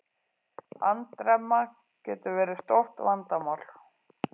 Andremma getur verið stórt vandamál.